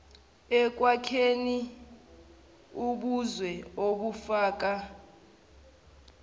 ekwakheni ubuzwe obufaka